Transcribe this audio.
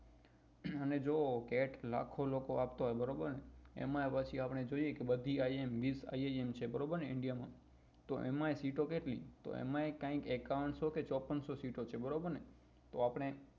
અને જો cat લાખો લોકો આપતા હોય બરાબર એમાય પછી આપડે જોઈએ કે બધી iim miss I am છે બારબર ને india માં તો એમાય sit ઓ કેટલી તો એમાય કઈક એક્કાવ્ન્સો કે ચોપન્ન્સો sit ઓ છે બરોબર ને તો એમાય આપડે